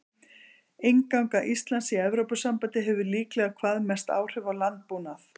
Innganga Íslands í Evrópusambandið hefði líklega hvað mest áhrif á landbúnað.